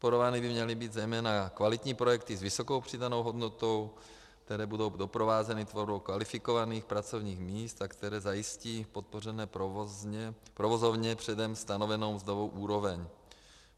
Podporovány by měly být zejména kvalitní projekty s vysokou přidanou hodnotou, které budou doprovázeny tvorbou kvalifikovaných pracovních míst a které zajistí podpořené provozovně předem stanovenou mzdovou úroveň.